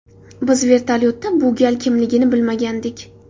Biz vertolyotda bu gal kimligini bilmagandik.